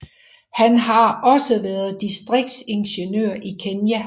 Han har også været distriktsingeniør i Kenya